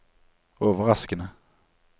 overraskende